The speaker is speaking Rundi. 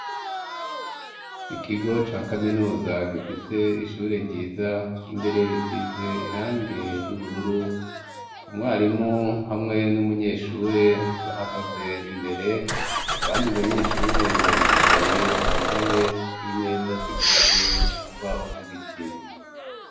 Ikigo ca kaminuza gifise ishure ryiza imbere risize irangi ry'ubururu umwarimu hamwe n'umunyeshure bahagaze imbere abandi banyeshure baricaye ku ntebe n'imeza zikozwe mu mbaho z'ibiti.